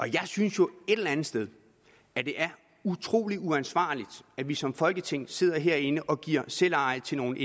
jeg synes jo et eller andet sted at det er utrolig ansvarligt at vi som folketing sidder herinde og giver selveje til nogle